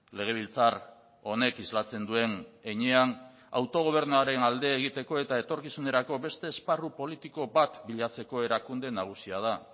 legebiltzar honek islatzen duen heinean autogobernuaren alde egiteko eta etorkizunerako beste esparru politiko bat bilatzeko erakunde nagusia da